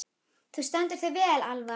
Þú stendur þig vel, Alva!